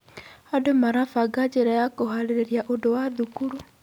Arutwo marabanga njĩra cia kũharĩrĩria ũndũ wa thukuru.